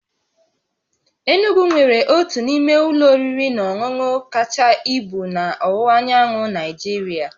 Enugwu nwere otu n'ime ụlọ oriri na ọṅụṅụ kacha ibu na ọwụwa anyanwụ Nigeria